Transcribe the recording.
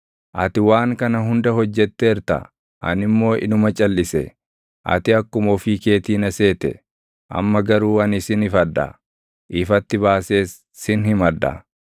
Ati waan kana hunda hojjetteerta; ani immoo inuma calʼise; ati akkuma ofii keetii na seete. Amma garuu ani sin ifadha; ifatti baasees sin himadha.